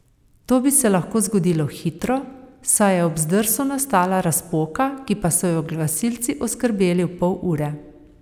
To bi se lahko zgodilo hitro, saj je ob zdrsu nastala razpoka, ki pa so jo gasilci oskrbeli v pol ure.